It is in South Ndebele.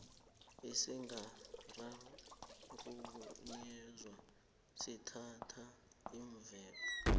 esingakarhunyezwa sithatha iimveke